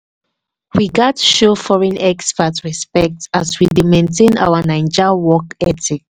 we gats show foreign expat respect as we dey maintain our naija work ethic.